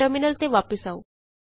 terminal ਤੇ ਵਾਪਸ ਆਉ